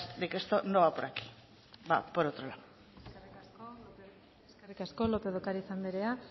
de que esto no va por aquí va por otro lado eskerrik asko lópez de ocariz anderea